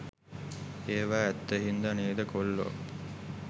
ඒවා ඇත්ත හින්ද නේද කොල්ලෝ